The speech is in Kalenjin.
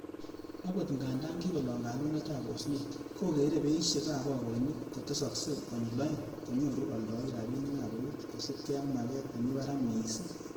Agot ngandan kikolong kalumetab osnet, kogere beishek ab bagoinik kotesoksee konyil oeng konyoru oldoik rabinik ab eut kosiibge ak maget nemi barak missing.